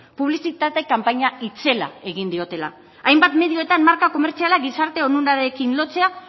publizitate kanpaina itzela egin diotela hainbat medioetan marka komertziala gizarte onurarekin lotzea